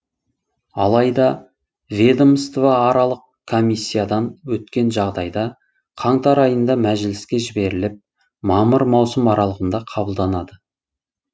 алайда ведомствоаралық комиссиядан өткен жағдайда қаңтар айында мәжіліске жіберіліп мамыр маусым аралығында қабылданады